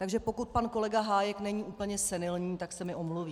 Takže pokud pan kolega Hájek není úplně senilní, tak se mi omluví.